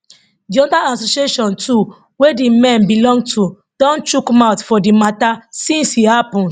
di hunters association too wey di men belong to don chook mouth for di mata since e happun